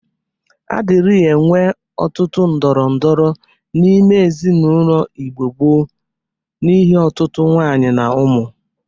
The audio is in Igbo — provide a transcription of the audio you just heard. A dịrị enwe ọtụtụ ndorondoro n'ime ezinaụlọ Igbo gboo n'ihe ọtụtụ nwunye na ụmụ.